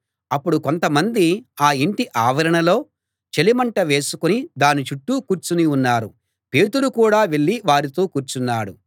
అప్పుడు కొంతమంది ఆ ఇంటి ఆవరణలో చలిమంట వేసుకుని దాని చుట్టూ కూర్చుని ఉన్నారు పేతురు కూడా వెళ్ళి వారితో కూర్చున్నాడు